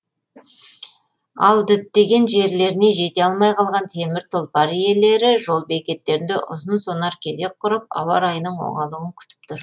ал діттеген жерлеріне жете алмай қалған темір тұлпар иелері жол бекеттерінде ұзын сонар кезек құрып ауа райының оңалуын күтіп тұр